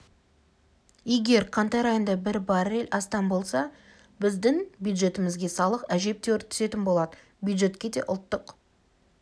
егер қаңтар айында бір баррель астам болса біздің бюджетімізге салық әжептәуір түсетін болады бюджетке де ұлттық